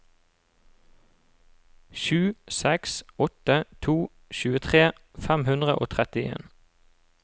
sju seks åtte to tjuetre fem hundre og trettien